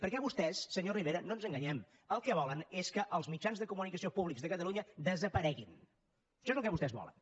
perquè vostès senyor rivera no ens enganyem el que volen és que els mitjans de comunicació públics de catalunya desapareguin això és el que vostès volen